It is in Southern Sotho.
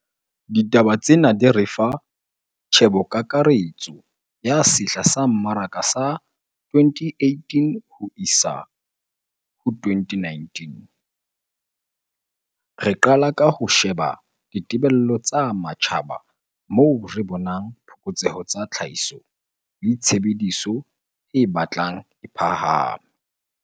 Ditaba tsena di re fa tjhebokakaretso ya sehla sa mmaraka sa 2018-2019. Re qala ka ho sheba ditebello tsa matjhaba moo re bonang phokotseho tsa tlhahiso le tshebediso e batlang e phahame.